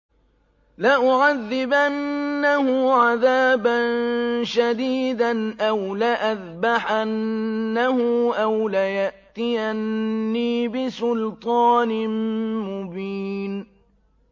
لَأُعَذِّبَنَّهُ عَذَابًا شَدِيدًا أَوْ لَأَذْبَحَنَّهُ أَوْ لَيَأْتِيَنِّي بِسُلْطَانٍ مُّبِينٍ